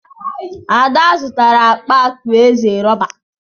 Ada zụtara akpa atu eze rọba.